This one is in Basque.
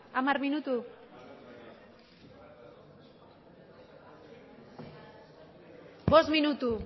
hamar minutu bost minutu